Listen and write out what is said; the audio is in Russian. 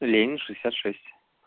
ленино шестьдесят шесть